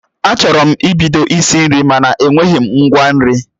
Achọrọ m ibido isi nri mana enweghị m ngwa nri